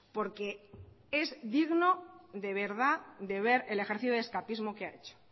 porque es digno de verdad de ver el ejercicio de escapismo que ha hecho